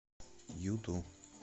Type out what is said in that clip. юту